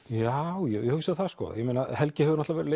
já ég hugsa það sko helgi hefur náttúrulega